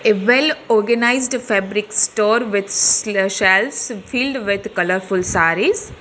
A well organized fabric store with s shelves filled with colourful sarees.